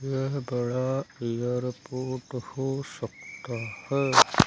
यह बड़ा एयरपोर्ट हो सकता है।